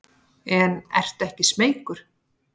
En ertu ekki smeykur?